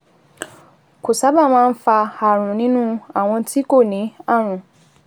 Kò sábà máa ń fa ààrùn nínú àwọn tí kò ní ààrùn